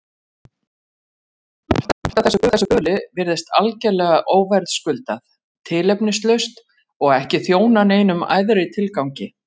Og margt af þessu böli virðist algerlega óverðskuldað, tilefnislaust og ekki þjóna neinum æðri tilgangi.